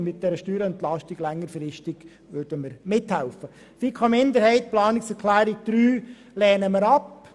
Die Planungserklärung 3 der FiKo-Minderheit lehnen wir ab.